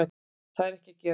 Það er ekki að gerast